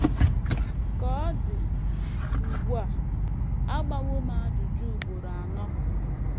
Ka ọ dị ugbu a, a gbawo m ajụjụ ugboro anọ.